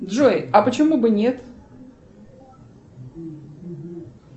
джой а почему бы нет